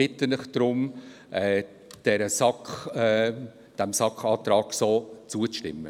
Deshalb bitte ich Sie darum, dem SAK-Antrag so zuzustimmen.